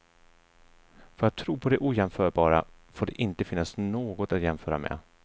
För att tro på det ojämförbara får det inte finnas något att jämföra med.